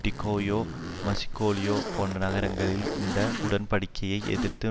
Tokyo மஸ்கோலியோ போன்ற நகரங்களில் இந்த உடன்படிக்கையை எதிர்த்து